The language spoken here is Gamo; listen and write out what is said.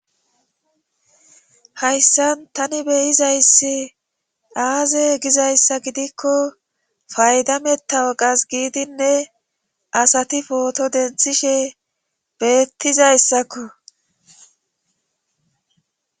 hayssan tani beyizayssi aaze gizayssa gidikko fayda mettawoqas giidinne asati pooto denthishe beettizayssakko